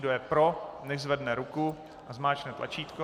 Kdo je pro, nechť zvedne ruku a zmáčkne tlačítko.